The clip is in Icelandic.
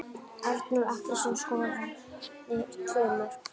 Arnór Atlason skoraði tvö mörk.